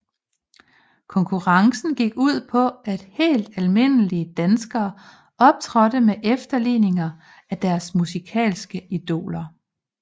Konkurrencen gik ud på at helt almindelige danskere optrådte med efterligninger af deres musikalske idoler